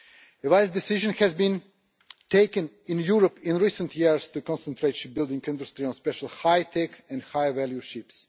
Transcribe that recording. The wise decision has been taken in Europe in recent years to concentrate shipbuilding industry on special high tech and high value ships.